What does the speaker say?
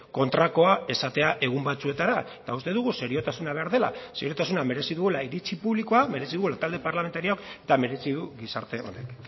kontrakoa esatea egun batzuetara eta uste dugu seriotasuna behar dela seriotasuna merezi duela iritzi publikoa merezi duela talde parlamentarioak eta merezi duela gizarte honek